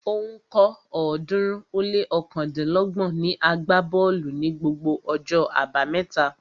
Ó ń kọ́ ọ̀ọ́dúnrún ó lé ọ̀kándínlọ́gbọ̀n niàgbá bọ́ọ̀lù ní gbogbo ọjọ́ abámẹ́ta